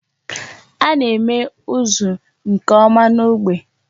A na-eme ụzụ nke ọma n'ógbè.